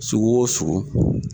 Sugu o sugu